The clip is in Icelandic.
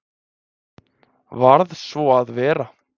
Varð svo að vera.